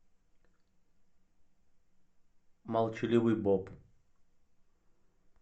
молчаливый боб